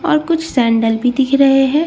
और कुछ सैंडल भी दिख रहे हैं।